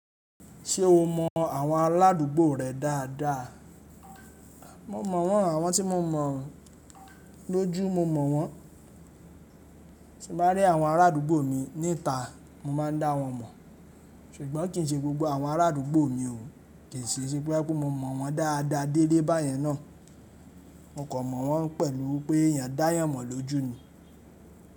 Ṣé o mọ àwọn aládùúgbò rẹ dáadáa? Mo mọ̀ wọ́n, àwọn tí mo mọ̀, lójú mo mọ̀ wọ́n. Ti n bá rí àwọn arádúgbò mi nítà, mo máa n dá wọn mọ̀, ṣùgbọ́n kì í ṣe gbogbo àwọn arádúgbò mi o, kì í sìí ṣe bóyá pé mo mọ̀ wọ́n dáadáa délé báyẹn náà. Mo kan mọ̀ wọ́n pẹ̀lú wípé èèyàn dáayàn mọ̀ lójú ni.